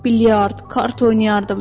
Bilyard, kart oynayardım.